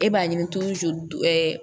E b'a ɲini ɛɛ